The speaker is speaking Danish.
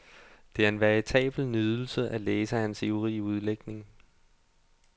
Det er en veritabel nydelse at læse hans ivrige udlægning.